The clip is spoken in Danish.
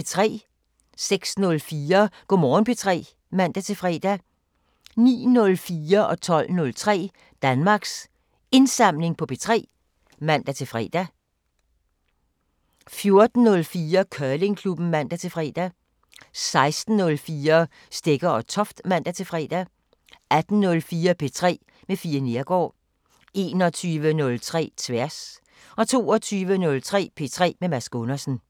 06:04: Go' Morgen P3 (man-fre) 09:04: Danmarks Indsamling på P3 (man-fre) 12:03: Danmarks Indsamling på P3 (man-fre) 14:04: Curlingklubben (man-fre) 16:04: Stegger & Toft (man-fre) 18:04: P3 med Fie Neergaard 21:03: Tværs 22:03: P3 med Mads Gundersen